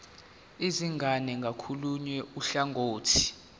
izingane ngakolunye uhlangothi